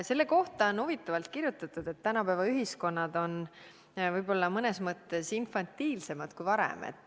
Selle kohta on huvitavalt kirjutatud, et tänapäeva ühiskonnad on mõnes mõttes infantiilsemad kui varem.